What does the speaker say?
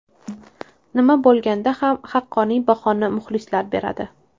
Nima bo‘lganda ham, haqqoniy bahoni muxlislar beradi.